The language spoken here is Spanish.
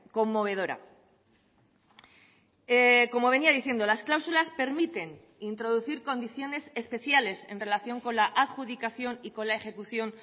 conmovedora como venía diciendo las cláusulas permiten introducir condiciones especiales en relación con la adjudicación y con la ejecución